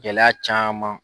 Gɛlɛya caman.